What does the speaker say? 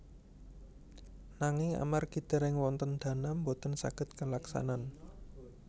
Ananging amargi dèrèng wonten dana boten saged kalaksanan